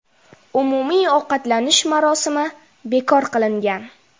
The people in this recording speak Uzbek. Umumiy ovqatlanish marosimi bekor qilingan.